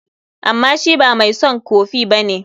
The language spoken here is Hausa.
Amma shi ba mai son kofi ba ne.